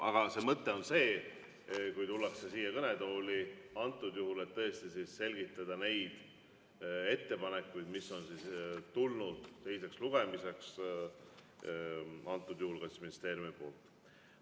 Aga see mõte on selles, kui tullakse siia kõnetooli, et tõesti selgitada neid ettepanekuid, mis on tulnud teiseks lugemiseks, antud juhul ka ministeeriumilt.